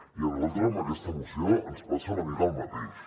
i a nosaltres amb aquesta moció ens passa una mica el mateix